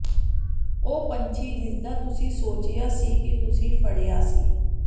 ਉਹ ਪੰਛੀ ਜਿਸਦਾ ਤੁਸੀਂ ਸੋਚਿਆ ਸੀ ਕਿ ਤੁਸੀਂ ਫੜਿਆ ਸੀ